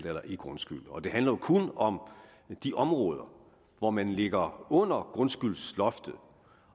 eller i grundskyld og det handler jo kun om de områder hvor man ligger under grundskyldsloftet